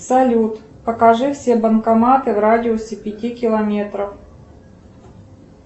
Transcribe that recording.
салют покажи все банкоматы в радиусе пяти километров